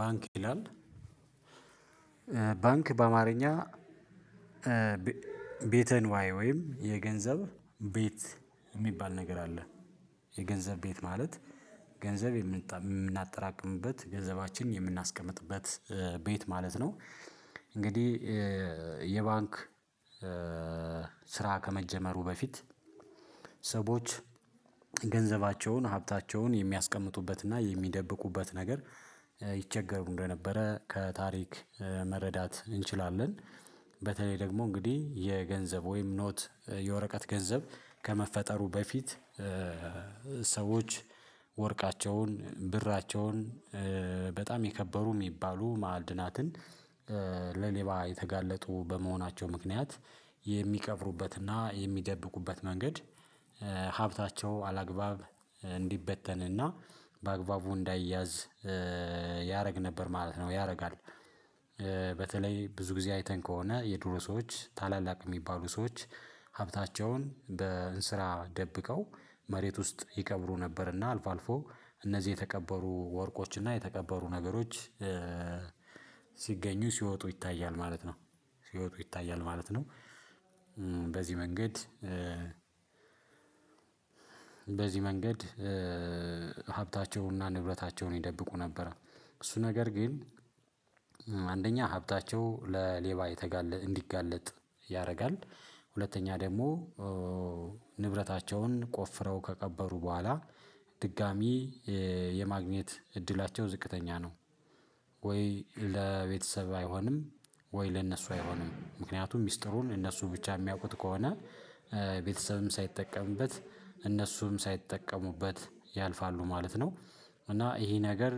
ባንክ ይላል ባንክ በአማርኛ። ቤተንዋይ ወይም የገንዘብ ቤት የሚባል ነገር አለ። የገንዘብ ቤት ማለት ገንዘብ የምናጠራቅምበት ገንዘባችን የምናስቀምጥበት ቤት ማለት ነው። እንግዲህ የባንክ ስራ ከመጀመሩ በፊት ሰዎች ገንዘባቸውን ሀብታቸውን የሚያስቀምጡበትና የሚደብቁበት ነገር ይቸገሩ እንደነበረ ከታሪክ መረዳት እንችላለን። በተለይ ደግሞ እንግዲህ የገንዘብ ወይም ኖት የወረቀት ገንዘብ ከመፈጠሩ በፊት። ሰዎች ወርቃቸውን ብራቸውን በጣም የከበሩ የሚባሉ ማዕድናትን ለሌባ የተጋለጡ በመሆናቸው ምክንያት የሚቀብሩበትና የሚደብቁበት መንገድ ሀብታቸው አላግባብ እንዲበተንና በአግባቡ እንዳይያዝ ያደርግ ነበር ማለት ነው። ያደርጋል። በተለይ ብዙ ጊዜ አይተን ከሆነ የድሮ ሰዎች ታላላቅ የሚባሉ ሰዎች ሀብታቸውን በእንስራ ደብቀው መሬት ውስጥ ይቀብሩ ነበርና አልፎ አልፎ እነዚህ የተቀበሩ ወርቆችና የተቀበሩ ነገሮች ሲገኙ ሲወጡ ይታያል ማለት ነው ሲወጡ ይታያል ማለት ነው። በዚህ መንገድ በዚህ መንገድ ሀብታቸውና ንብረታቸውን ይደብቁ ነበር። እሱ ነገር ግን አንደኛ ሀብታቸው ለሌባ እንዲጋለጥ ያደርጋል። ሁለተኛ ደግሞ ንብረታቸውን ቆፍረው ከቀበሩ በኋላ ድጋሚ የማግኘት እድላቸው ዝቅተኛ ነው። ወይ ለቤተሰብ አይሆንም ወይ ለነሱ አይሆንም ምክንያቱም ሚስጥሩን እነሱ ብቻ የሚያውቁት ከሆነ ቤተሰብም ሳይጠቀምበት እነሱም ሳይጠቀሙበት ያልፋሉ ማለት ነው። እና ይሄ ነገር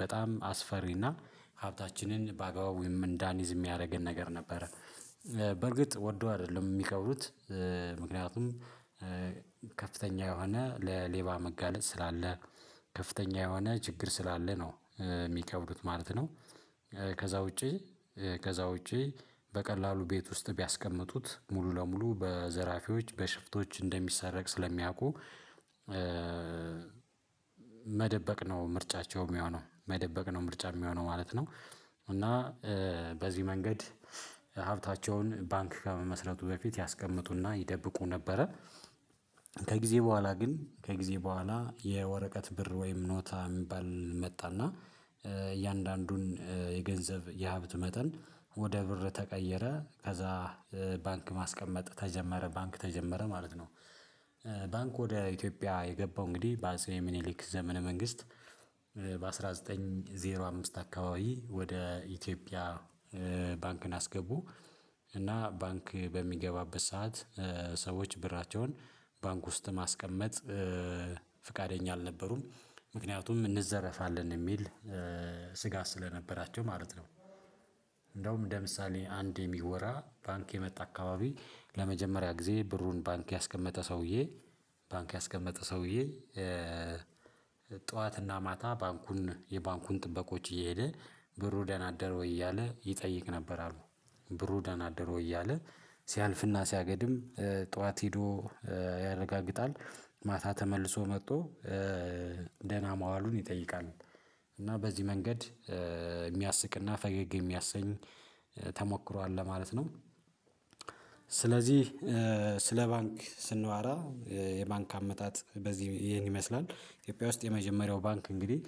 በጣም አስፈሪና ሀብታችንን በአግባቡ ወይም እንዳንይዝ የሚያደርገን ነገር ነበረ። በእርግጥ ወዶ አይደለም የሚቀብሩት ምክንያቱም ከፍተኛ የሆነ ለሌባ መጋለጥ ስላለ ከፍተኛ የሆነ ችግር ስላለ ነው የሚቀብሩት ማለት ነው። ከዛ ውጪ ከዛ ውጪ በቀላሉ ቤት ውስጥ ቢያስቀምጡት ሙሉ ለሙሉ በዘራፊዎች በሽፍቶች እንደሚሰረቅ ስለሚያውቁ መደበቅ ነው ምርጫቸው የሚሆነው መደበቅ ነው ምርጫ የሚሆነው ማለት ነው። እና በዚህ መንገድ ሀብታቸውን ባንክ ከመመስረቱ በፊት ያስቀምጡና ይደብቁ ነበረ። ከጊዜ በኋላ ግን ከጊዜ በኋላ የወረቀት ብር ወይም ኖታ የሚባል መጣና እያንዳንዱን የገንዘብ የሀብት መጠን ወደ ብር ተቀየረ ከዛ ባንክ ማስቀመጥ ተጀመረ ባንክ ተጀመረ ማለት ነው። ባንክ ወደ ኢትዮጵያ የገባው እንግዲህ በአፄ ምኒሊክ ዘመነ መንግስት በአንድ ሺህ ዘጠኝ መቶ አምስት አካባቢ ወደ ኢትዮጵያ ባንክን አስገቡ። እና ባንክ በሚገባበት ሰዓት ሰዎች ብራቸውን ባንክ ውስጥ ማስቀመጥ ፍቃደኛ አልነበሩም ምክንያቱም እንዘረፋለን የሚል ስጋት ስለነበራቸው ማለት ነው። እንደውም ለምሳሌ አንድ የሚወራ ባንክ የመጣ አካባቢ ለመጀመሪያ ጊዜ ብሩን ባንክ ያስቀመጠ ሰውዬ ባንክ ያስቀመጠ ሰውዬ ጠዋትና ማታ ባንኩን የባንኩን ጥበቆች እየሄደ ብሩ ደና አደረ እያለ ይጠይቅ ነበር አሉ። ብሩ ደና አደረ እያለ ሲያልፍና ሲያገድም ጠዋት ሄዶ ያረጋግጣል ማታ ተመልሶ መጥቶ ደህና ማዋሉን ይጠይቃል እና በዚህ መንገድ የሚያስቅና ፈገግ የሚያሰኝ ተሞክሯል ለማለት ነው። ስለዚህ ስለ ባንክ ስናወራ የባንክ አመታት በዚህ ይሄን ይመስላል። ኢትዮጵያ ውስጥ የመጀመሪያው ባንክ እንግዲህ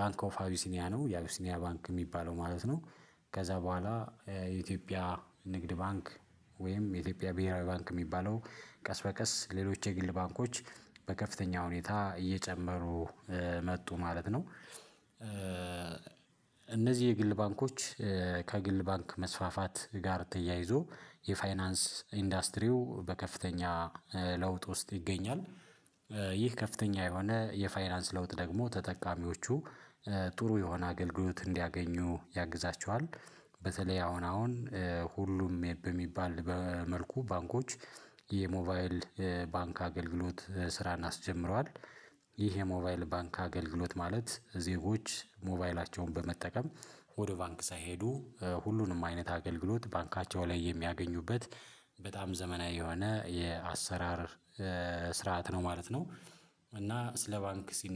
ባንክ ኦፍ አቢሲኒያ ነው የአቢሲኒያ ባንክ የሚባለው ማለት ነው። ከዛ በኋላ የኢትዮጵያ ንግድ ባንክ ወይም የኢትዮጵያ ብሄራዊ ባንክ የሚባለው ቀስ በቀስ ሌሎች የግል ባንኮች በከፍተኛ ሁኔታ እየጨመሩ መጡ ማለት ነው። እነዚህ የግል ባንኮች ከግል ባንክ መስፋፋት ጋር ተያይዞ የፋይናንስ ኢንዱስትሪው በከፍተኛ ለውጥ ውስጥ ይገኛል። ይህ ከፍተኛ የሆነ የፋይናንስ ለውጥ ደግሞ ተጠቃሚዎቹ ጥሩ የሆነ አገልግሎት እንዲያገኙ ያግዛቸዋል። በተለይ አሁን አሁን ሁሉም የበሚባል መልኩ ባንኮች የሞባይል ባንክ አገልግሎት ስራን አስጀምረዋል። ይሄ የሞባይል ባንክ አገልግሎት ማለት ዜጎች ሞባይላቸውን በመጠቀም ወደ ባንክ ሳይሄዱ ሁሉንም አይነት አገልግሎት ባንካቸው ላይ የሚያገኙበት በጣም ዘመናዊ የሆነ የአሰራር ስርዓት ነው ማለት ነው። እና ስለ ባንክ ሲነ